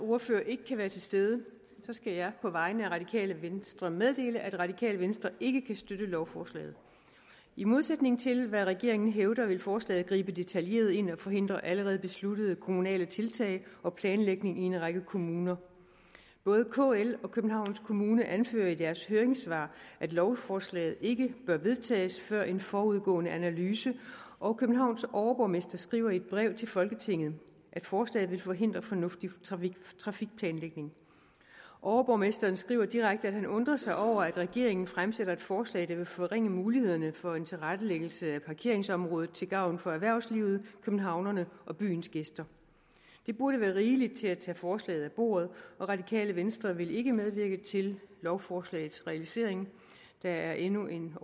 ordfører ikke kan være til stede skal jeg på vegne af radikale venstre meddele at radikale venstre ikke kan støtte lovforslaget i modsætning til hvad regeringen hævder vil forslaget gribe detaljeret ind og forhindre allerede besluttede kommunale tiltag og planlægning i en række kommuner både kl og københavns kommune anfører i deres høringssvar at lovforslaget ikke bør vedtages før en forudgående analyse og københavns overborgmester skriver i et brev til folketinget at forslaget vil forhindre fornuftig trafikplanlægning overborgmesteren skriver direkte at han undrer sig over at regeringen fremsætter et forslag der vil forringe mulighederne for en tilrettelæggelse af parkeringsområdet til gavn for erhvervslivet københavnerne og byens gæster det burde være rigeligt til at tage forslaget af bordet og radikale venstre vil ikke medvirke til lovforslagets realisering der er endnu en